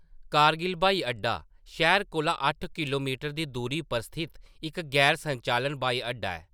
कारगिल ब्हाई अड्डा शैह्‌र कोला अट्ठ किलोमीटर दी दूरी पर स्थित इक गैर-संचालन ब्हाई अड्डा ऐ।